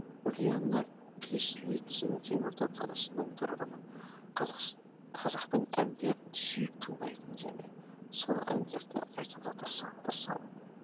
ульяна кислицына теміртау қаласының тұрғыны қазақтың әндерін сүйіп тыңдаймын және сол әндерді айтуға тырысамын